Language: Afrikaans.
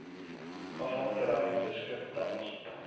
afvalterrein beskik tans